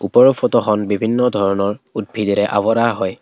ওপৰৰ ফটোখন বিভিন্ন ধৰণৰ উদ্ভিদেৰে আৱৰা হয়।